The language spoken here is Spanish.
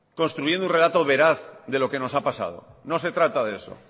construyendo un relato veraz de lo que nos ha pasado no se trata de eso